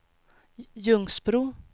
Ljungsbro